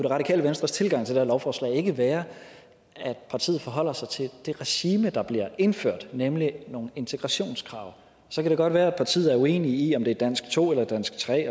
radikale venstres tilgang til det her lovforslag ikke være at partiet forholder sig til det regime der bliver indført nemlig nogle integrationskrav så kan det godt være at partiet er uenig i om det er dansk to eller dansk tre